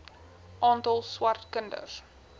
aantal swart kinders